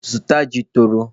Zụta ji tọrọ!